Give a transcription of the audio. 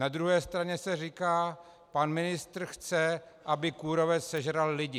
Na druhé straně se říká: pan ministr chce, aby kůrovec sežral lidi.